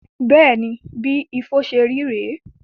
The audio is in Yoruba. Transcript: Beeni, bí Ifo ṣé rí re e